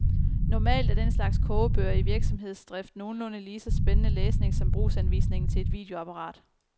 Normalt er den slags kogebøger i virksomhedsdrift nogenlunde lige så spændende læsning som brugsanvisningen til et videoapparat.